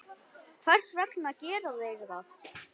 Hvers vegna gera þeir það?